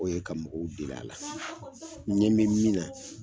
O ye ka mɔgɔw deli a la. N ɲɛ bɛ min na,